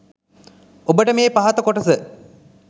ඔබට මේ පහත කොටස